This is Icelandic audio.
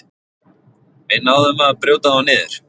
Við náðum að brjóta þá niður